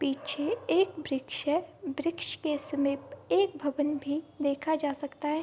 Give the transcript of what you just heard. पीछे एक वृक्ष है वृक्ष के समीप एक भवन भी देखा जा सकता है।